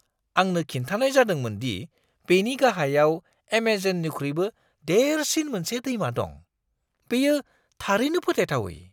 आंनो खिन्थानाय जादोंमोन दि बेनि गाहायाव एमेजननिख्रुइबो देरसिन मोनसे दैमा दं। बेयो थारैनो फोथायथावै!